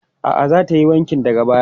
A'a, za ta yi wankin daga baya.